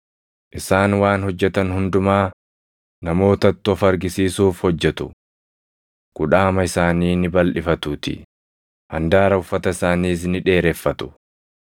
“Isaan waan hojjetan hundumaa namootatti of argisiisuuf hojjetu: Kudhaama isaanii ni balʼifatuutii; handaara uffata isaaniis ni dheereffatu.